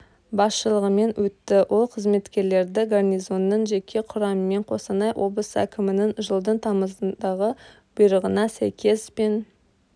басшылығымен өтті ол қызметкерлерді гарнизонның жеке құрамымен қостанай облысы әкімінің жылдың тамызындағы бұйрығына сәйкес пен